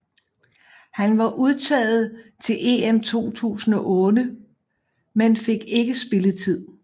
Han var udtaget til EM 2008 men fik ikke spilletid